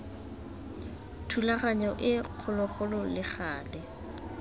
thulaganyo e kgologolo le gale